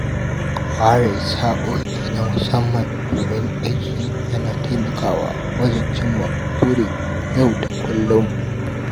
Ware sa'o'i na musamman don aiki yana taimakawa wajen cimma burin yau da kullum.